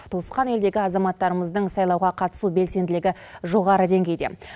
туысқан елдегі азаматтарымыздың сайлауға қатысу белсенділігі жоғары деңгейде